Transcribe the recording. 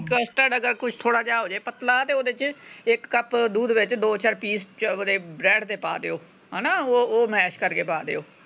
custard ਅਗਰ ਕੁਛ ਥੋੜਾ ਜੇਹਾ ਹੋ ਜੇ ਪਤਲਾ ਤੇ ਓਦੇ ਚ ਇਕ cup ਦੁੱਧ ਵਿਚ ਦੋ ਚਾਰ ਪੀਸ ਕੇ ਓਦੇ bread ਦੇ ਪਾ ਦਿਓ। ਹਣਾ ਉਹ ਮੈਸ਼ ਕਰਕੇ ਪਾ ਦਿਓ।